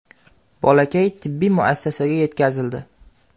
Bolakay tibbiy muassasaga yetkazildi.